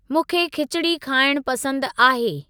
मूंखे खिचड़ी खाइण पसंद आहे।